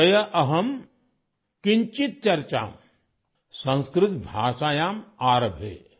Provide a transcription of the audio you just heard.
ଅଦ୍ୟ ଅହଂ କିଂଚିତ୍ ଚର୍ଚ୍ଚା ସଂସ୍କୃତ ଭାଷାୟାଂ ଆରଭେ